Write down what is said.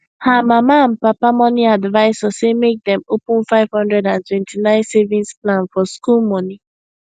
her mama and papa money advisor say make dem open 529 savings plan for school money